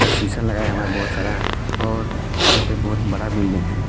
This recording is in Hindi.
और शीशा लगाया हुआ है बहुत सारा और यहां पे बहोत बड़ा बिल्डिंग है।